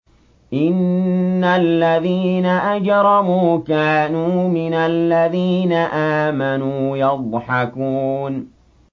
إِنَّ الَّذِينَ أَجْرَمُوا كَانُوا مِنَ الَّذِينَ آمَنُوا يَضْحَكُونَ